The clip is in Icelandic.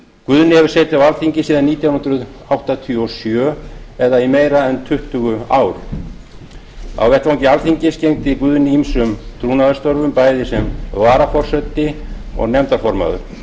guðni hefur setið á alþingi síðan nítján hundruð áttatíu og sjö eða í meira en tuttugu ár á vettvangi alþingis gegndi guðni ýmsum trúnaðarstörfum bæði sem varaforseti og nefndarformaður